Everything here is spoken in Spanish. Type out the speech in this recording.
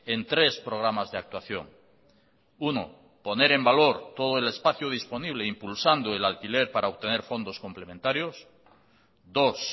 en tres programas de actuación uno poner en valor todo el espacio disponible impulsando el alquiler para obtener fondos complementarios dos